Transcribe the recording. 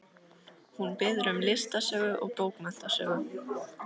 Hún biður um listasögu og bókmenntasögu.